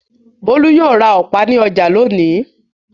Bólú yóò ra ọ̀pá ní ọjà lónìí.